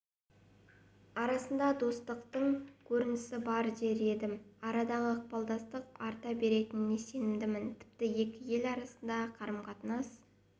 арасындағы достықтың көрінісі дер едім арадағы ықпалдастық арта беретініне сенімдімін тіпті екі ел арасындағы қарым-қатынас